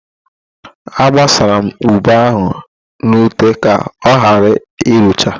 Agbasara m ube ahụ n'ute ka ọghara irucha.